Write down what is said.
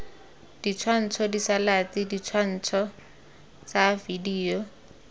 ditshwantsho diselaete ditshwantsho tsa video